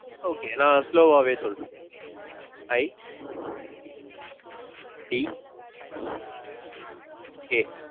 okay நான் slow வாவே சொல்றேன். I D K.